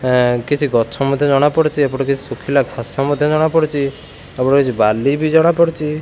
ଏ କିଛି ଗଛ ମଧ୍ୟ ଜଣା ପଡୁଚି ଏପଟେ କିଛି ଶୁଖିଲା ଘାସ ମଧ୍ୟ ଜଣା ପଡୁଚି ଆଉ କିଛି ବାଲି ବି ଜଣା ପଡୁଚି।